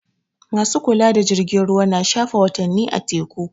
Ma su kula da jirgin ruwa na shafe watanni a teku.